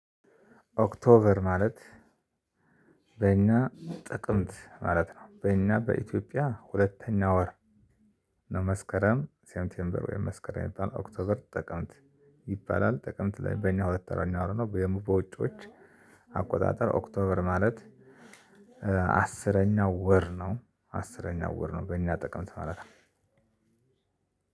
ኦክቶበር ማለት። በእኛ ጥቅምት ማለት ነው በእኛ በኢትዮጵያ ሁለተኛ ወር። መስከረም ሴምቴምበር ዌይ መስከረም የሚባል ኦክቶበር ጥቀምት ይባላል። ጥቅምት ላይ በእኛ ሁለት ወርኛው ነው። በውጪዎች አቆጣጠር ኦክቶበር ማለት። አስረኛው ወር ነው አስረኛው ወር ነው በእኛ ጥቅምት ነው። ማለት